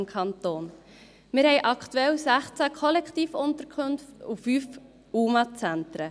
Wir haben aktuell 16 Kollektivunterkünfte und 5 UMA-Zentren.